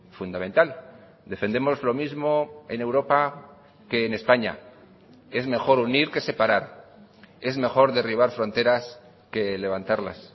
fundamental defendemos lo mismo en europa que en españa es mejor unir que separar es mejor derribar fronteras que levantarlas